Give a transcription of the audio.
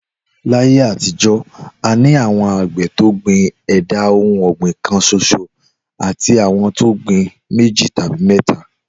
Láyé àtijó̩, a ní àwo̩n àgbè̩ tó gbìn è̩dà ohun ò̩gbìn kan s̩os̩o àti àwo̩n tó gbin méjì tàbí mé̩ta